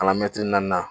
Kalan mɛtiri naani